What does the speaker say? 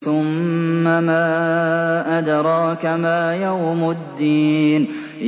ثُمَّ مَا أَدْرَاكَ مَا يَوْمُ الدِّينِ